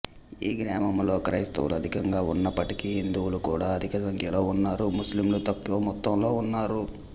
ఈ గ్రామంలో క్రైస్తవులు అధికంగా వున్నప్పటికీ హిందువులు కూడా అధిక సంఖ్యలో వున్నారు ముస్లింలు తక్కువ మొత్తంలో ఉన్నారు